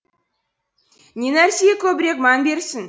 не нәрсеге көбірек мән берсін